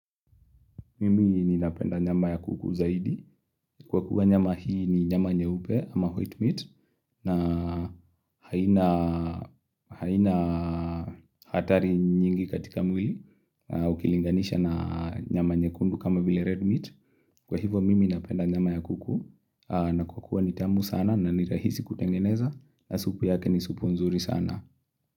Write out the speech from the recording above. Mimi ninapenda nyama ya kuku zaidi. Kwa kuwa nyama hii ni nyama nyeupe ama white meat. Na haina hatari nyingi katika mwili. Ukilinganisha na nyama nyekundu kama vile red meat. Kwa hivo mimi napenda nyama ya kuku. Na kwa kuwa ni tamu sana na ni rahisi kutengeneza. Na supu yake ni supu nzuri sana.